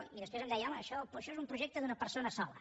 i després em deia home això és un projecte d’una persona sola